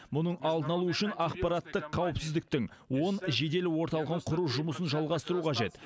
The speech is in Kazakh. мұның алдын алу үшін ақпараттық қауіпсіздіктің он жедел орталығын құру жұмысын жалғастыру қажет